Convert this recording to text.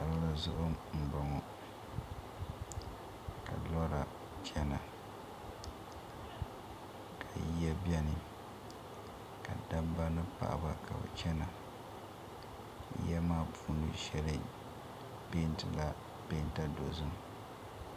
Palli zuɣu m boŋɔ ka lora Chana ka yiya beni ka dabiba ni paɣa ba ka bɛ chana ya maa puuni shɛli peenti la peenta dɔzim